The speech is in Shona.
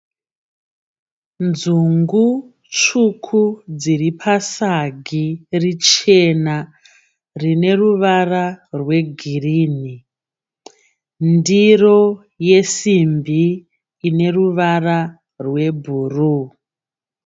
Nzungu tsvuku dziri pasagi richena rine ruvara rwegirini ndiro yesimbi ine ruvara rwebhuruu.